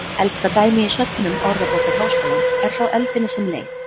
Elsta dæmi í söfnum Orðabókar Háskólans er frá öldinni sem leið.